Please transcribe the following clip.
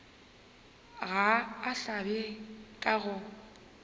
ga a hlabe ka go